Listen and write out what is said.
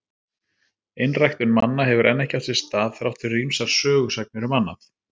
Einræktun manna hefur enn ekki átt sér stað, þrátt fyrir ýmsar sögusagnir um annað.